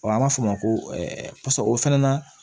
an b'a fɔ o ma ko pase o fana na